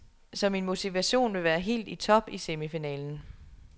Så min motivation vil være helt i top i semifinalen.